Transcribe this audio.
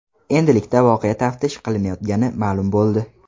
Endilikda voqea taftish qilinayotgani ma’lum bo‘ldi.